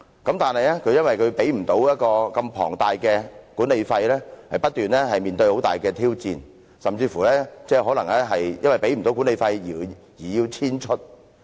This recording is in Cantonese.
可是，由於無法支付龐大的管理費，要不斷面對很大的挑戰，甚至可能因為無法繳付管理費而要遷出。